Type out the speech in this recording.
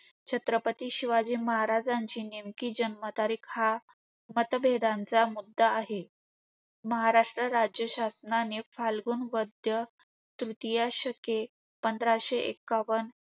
छत्रपती शिवाजी महाराजांची नेमकी जन्मतारीख हा मतभेदांचा मुद्दा आहे. महाराष्ट्र राज्य शासनाने फाल्गुन वैद्य तृतीय शके पंधराशे एक्कावन